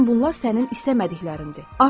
Bütün bunlar sənin istəmədiklərindir.